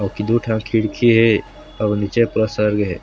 ओकी दूठन खिड़की हे। अऊ निचे पूरा सर्गे हे।